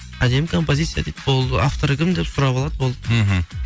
әдемі композиция дейді болды авторы кім деп сұрап алады болды мхм